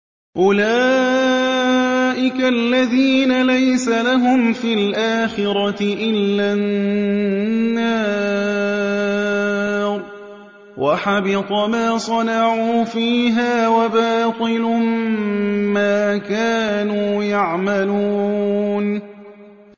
أُولَٰئِكَ الَّذِينَ لَيْسَ لَهُمْ فِي الْآخِرَةِ إِلَّا النَّارُ ۖ وَحَبِطَ مَا صَنَعُوا فِيهَا وَبَاطِلٌ مَّا كَانُوا يَعْمَلُونَ